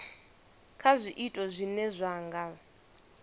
kha zwiito zwine zwa nga